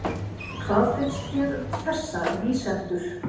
Hvað finnst þér um þessa lýsendur?